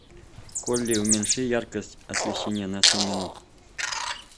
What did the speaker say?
в холле уменьши яркость освещения на семь минут